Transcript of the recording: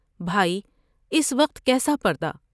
بھائی اس وقت کیسا پردہ ؟